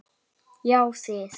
Já þið!